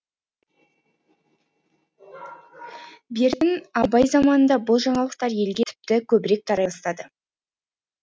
бертін абай заманында бұл жаңалықтар елге тіпті көбірек тарай бастады